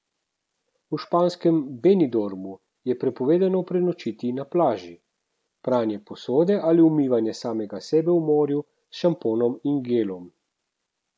V španskem Benidormu je prepovedano prenočiti na plaži, pranje posode ali umivanje samega sebe v morju s šamponom in gelom.